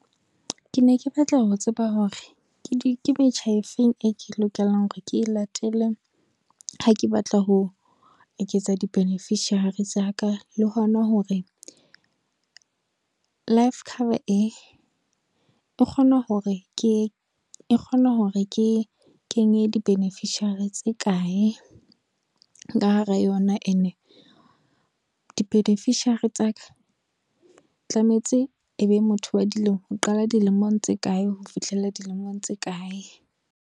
Ke ne ke batla ho tseba hore, ke metjha e feng e ke lokelang hore ke e latele, ha ke batla ho eketsa di-beneficiary tsa ka. Le hona hore, life cover e, e kgona hore ke kgona hore ke kenye di-beneficiary tsa kae ka hara yona. E ne, di-beneficiary tsa ka. Tlametse e be motho a dilemo o qala dilemong tse kae ho fihlela dilemong tse kae?